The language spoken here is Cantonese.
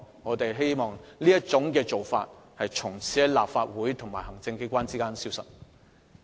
我們希望這種干預方式，從此在立法會和行政機關之間消失。